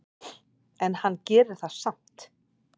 En hann gerir það samt.